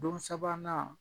Don sabanan